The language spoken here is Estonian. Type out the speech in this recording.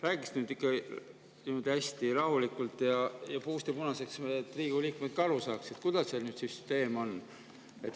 Räägiks nüüd ikka hästi rahulikult ja puust ja punaseks, et Riigikogu liikmed saaksid aru, milline see süsteem on.